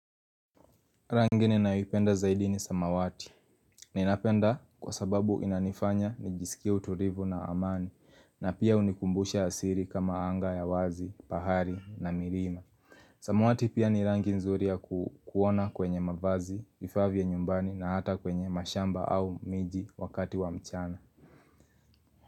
Rangi ninayoipenda zaidi ni samawati. Ninapenda kwa sababu inanifanya nijisikie utulivu na amani na pia hunikumbusha asili kama anga ya wazi, bahali na milima. Samawati pia ni rangi nzuri ya kuona kwenye mavazi, vifaa vya nyumbani na hata kwenye mashamba au miji wakati wa mchana.